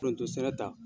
Foronto sɛnɛ ta